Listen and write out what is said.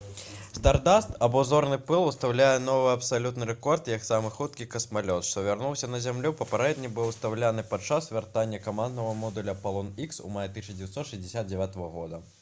«стардаст» або «зорны пыл» усталюе новы абсалютны рэкорд як самы хуткі касмалёт што вярнуўся на зямлю. папярэдні быў усталяваны падчас вяртання каманднага модуля «апалон х» у маі 1969 г